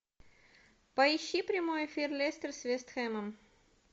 поищи прямой эфир лестер с вест хэмом